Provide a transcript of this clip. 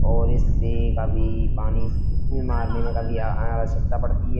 और इससे काफी पानी आवश्यकता पड़ती है।